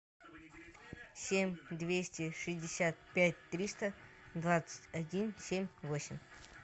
семь двести шестьдесят пять триста двадцать один семь восемь